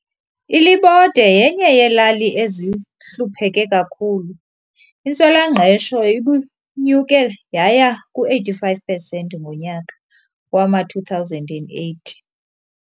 ILibode yenye yelali ezihlupheke kakhulu, intswelangqesho ibinyuke yaya ku-85 intswela ngqesho ngonyaka wama-2008.